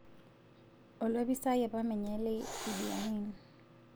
Olopisaai apa menye le Idi Amin